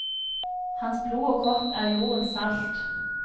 Hans blod og kropp er jordens salt.